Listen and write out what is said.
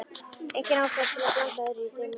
Engin ástæða til að blanda öðrum í þau mál.